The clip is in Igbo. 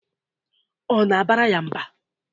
Ọ na-abara ya mba?